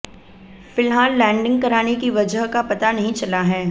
फिलहाल लैंडिंग कराने की वजह का पता नहीं चला हैै